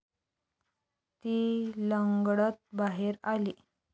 ती लंगडत बाहेर आली.